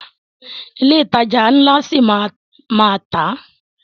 Ilé ìtajà ńlá ṣi máa a má tà.